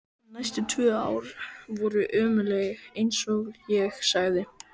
En næstu tvö ár voru ömurleg, einsog ég sagði.